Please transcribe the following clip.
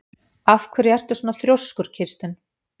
Af hverju ertu svona þrjóskur, Kirsten?